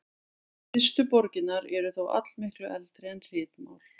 Fyrstu borgirnar eru þó allmiklu eldri en ritmál.